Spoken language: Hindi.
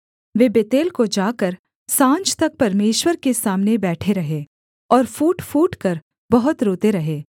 वे बेतेल को जाकर साँझ तक परमेश्वर के सामने बैठे रहे और फूट फूटकर बहुत रोते रहे